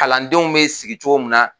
Kalandenw be sigi cogo min na